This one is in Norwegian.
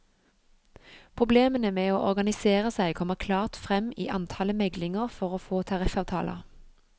Problemene med å organisere seg kommer klart frem i antallet meglinger for å få tariffavtaler.